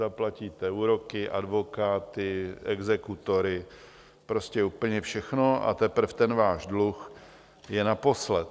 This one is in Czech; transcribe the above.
Zaplatíte úroky, advokáty, exekutory, prostě úplně všechno a teprv ten váš dluh je naposled.